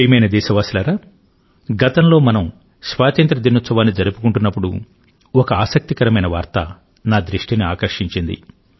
ప్రియమైన దేశవాసులారా గతంలో మనం స్వాతంత్ర్య దినోత్సవాన్ని జరుపుకుంటున్నప్పుడు ఒక ఆసక్తికరమైన వార్త నా దృష్టిని ఆకర్షించింది